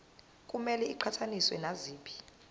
kumele iqhathaniswe naziphi